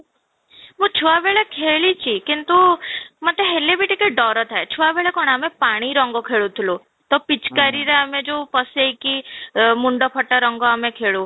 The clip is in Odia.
ମୁଁ ଛୁଆ ବେଳେ ଖେଳିଛି କିନ୍ତୁ ମତେ ହେଲେ ବି ଟିକେ ଡର ଥାଏ, ଛୁଆ ବେଳେ କ'ଣ ଆମେ ପାଣି ରଙ୍ଗ ଖେଳୁଥିଲୁ, ତ ପିଚକାରିରେ ଆମେ ଯୋଉ ପଶେଇକି ମୁଣ୍ଡ ଫଟା ରଙ୍ଗ ଆମେ ଖେଳୁ